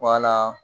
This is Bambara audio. Wala